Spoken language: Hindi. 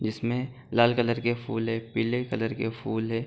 जिसमें लाल कलर के फूल हैं पीले कलर के फूल हैं।